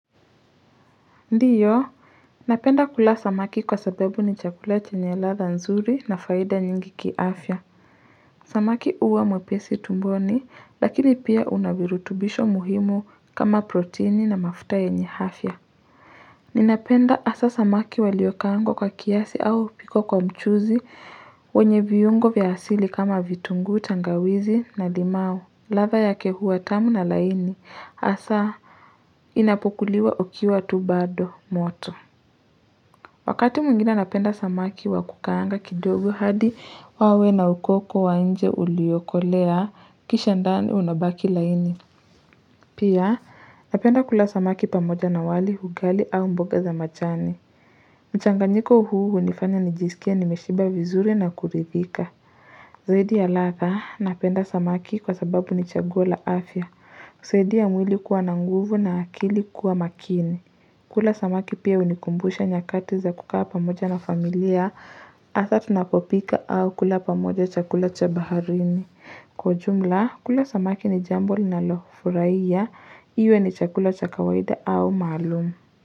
Ndiyo napenda kula samaki kwa sababu ni chakula chenye ladha nzuri na faida nyingi kiafya samaki huwa mwepesi tumboni lakini pia unavirutubisho muhimu kama proteini na mafuta yenye afya ninapenda haswa samaki walioka angwa kwa kiasi au kupikwa kwa mchuzi wenye viyungo vya asili kama vitungu tangawizi na limau ladha yake huwa tamu na laini asa inapokuliwa ikiwa tu bado moto Wakati mwingine napenda samaki wakukaanga kidogo hadi wawe na ukoko wainje uliyokolea kisha ndani unabaki laini. Pia napenda kula samaki pamoja na wali ugali au mboga za majani. Mchanganyiko huu hunifanya nijisike nimeshiba vizuri na kuridhika. Zaiidi ya ladha napenda samaki kwa sababu nichaguo la afya. Husaidia mwili kuwa nanguvu na akili kuwa makini. Kula samaki pia unikumbusha nyakati za kukaa pamoja na familia, haswa tunapopika au kula pamoja chakula cha baharini. Kwa jumla, kula samaki ni jambo ninalofurahia, iwe ni chakula cha kawaida au maalumu.